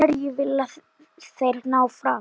Hverju vilja þeir ná fram?